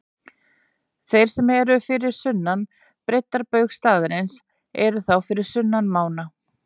Þeir sem eru fyrir sunnan breiddarbaug staðarins eru þá fyrir sunnan mána.